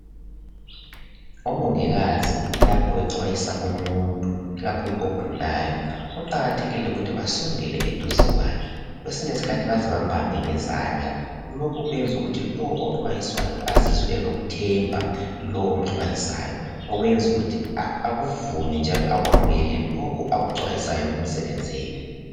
Omongikazi lapho bexwayisa umuntu ikakhulu ogulayo kuqakathekile ukuthi basondele eduze kwakhe kwesinye isikhathi baze bambambe ngezandla lokhu kwenza ukuthi lowo oxwayiswayo azizwe elokuthemba lo omxwayisayo okuyenza ukuthi akuvume njalo akwamukele lokhu akuxwayiswayo kumsebenzele.